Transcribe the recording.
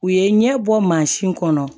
U ye ɲɛbɔ mansin kɔnɔ